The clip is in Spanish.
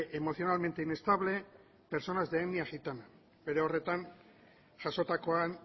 emocionalmente inestable personas de etnia gitana bere horretan jasotakoan